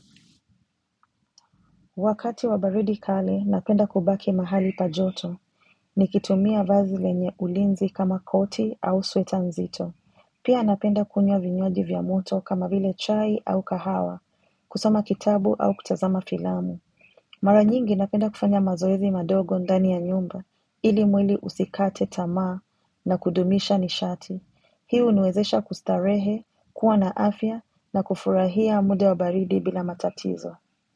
Wakati wa baridi kali, napenda kubaki mahali pa joto, nikitumia vazi lenye ulinzi kama koti au sweta nzito. Pia napenda kunywa vinywaji vya moto kama vile chai au kahawa, kusoma kitabu au kutazama filamu. Mara nyingi napenda kufanya mazoezi madogo ndani ya nyumba, ili mwili usikate tamaa na kudumisha nishati. Hii huniwezesha kustarehe, kuwa na afya na kufurahia muda wa baridi bila matatizo.